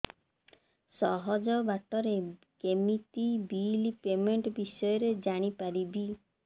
ସହଜ ବାଟ ରେ କେମିତି ବିଲ୍ ପେମେଣ୍ଟ ବିଷୟ ରେ ଜାଣି ପାରିବି